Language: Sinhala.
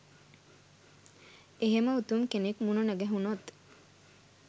එහෙම උතුම් කෙනෙක් මුණ නොගැහුනොත්